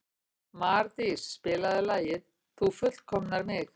Mardís, spilaðu lagið „Þú fullkomnar mig“.